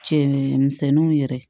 Cɛmisɛnninw yɛrɛ